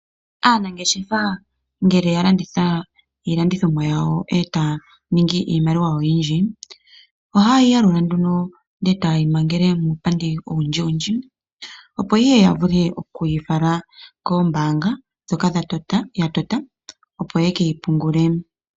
Aanangeshefa ngele ya landitha iilandithomwa yawo etaya ningi iimaliwa yawo oyindji, ohaye yi yalula nduno ndele etaye yi mangele muupandi owundjiwundji, opo ihe ya vule oku yi fala kombaanga ndhoka ya tota opo ye keyi pungule.